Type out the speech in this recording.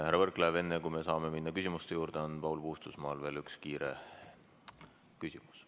Härra Võrklaev, enne kui me saame minna küsimuste juurde, on Paul Puustusmaal veel üks kiire küsimus.